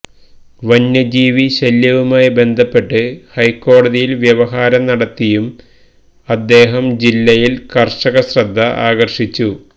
വന്യജീവി ശല്യവുമായി ബന്ധപ്പെട്ട് ഹൈക്കോടതിയിൽ വ്യവഹാരം നടത്തിയും അദ്ദേഹം ജില്ലയിൽ കർഷകശ്രദ്ധ ആകർഷിച്ചു